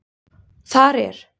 Þar er